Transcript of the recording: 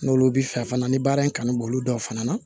N'olu bi fɛ fana ni baara in kanu b'olu dɔw fana na